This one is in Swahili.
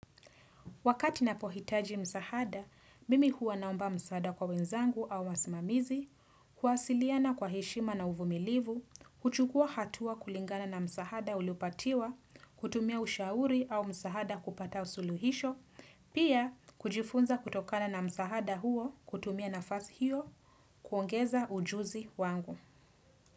Wakati ninapohitaji msahada, mimi huwa naomba msahada kwa wenzangu au wasimamizi, kuwasiliana kwa heshima na uvumilivu, kuchukua hatua kulingana na msahada uliopatiwa, kutumia ushauri au msahada kupata usuluhisho, pia kujifunza kutokana na msahada huo, kutumia nafazi hiyo, kuongeza ujuzi wangu.